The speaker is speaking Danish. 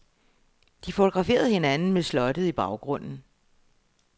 De fotograferede hinanden med slottet i baggrunden.